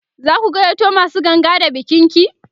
zaku gayyato masu ganga da bikin ki?